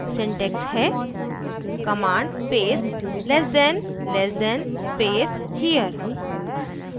syntax है command space less than less than space here